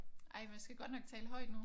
Ej man skal godt nok tale højt nu